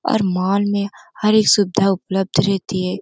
और मॉल में हर एक सुविधा उपलब्ध रहती है।